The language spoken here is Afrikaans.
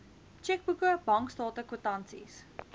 tjekboeke bankstate kwitansies